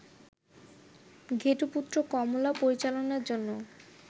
ঘেটুপুত্র কমলা পরিচালনার জন্য